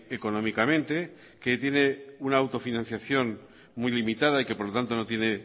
económicamente que tiene una autofinanciación muy limitada y que por lo tanto no tiene